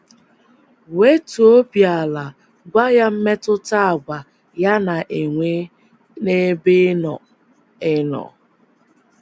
um Wetuo obi ala gwa ya mmetụta àgwà ya na - enwe n’ebe ị nọ ị nọ.